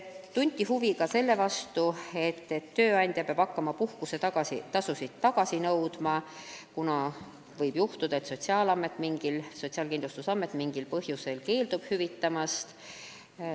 Tunti huvi ka selle vastu, et tööandja peab hakkama puhkusetasusid tagasi nõudma, kuna võib juhtuda, et Sotsiaalkindlustusamet mingil põhjusel keeldub hüvitamast.